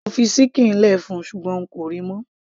mo fi ṣíkìn lẹ fún ṣùgbọ́n n kò ríi mọ́